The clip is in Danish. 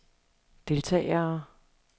deltagere